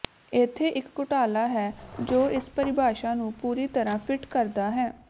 ਇੱਥੇ ਇੱਕ ਘੁਟਾਲਾ ਹੈ ਜੋ ਇਸ ਪਰਿਭਾਸ਼ਾ ਨੂੰ ਪੂਰੀ ਤਰ੍ਹਾਂ ਫਿੱਟ ਕਰਦਾ ਹੈ